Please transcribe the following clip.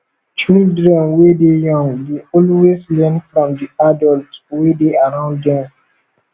children wey dey young dey always learn from di adult wey dey around them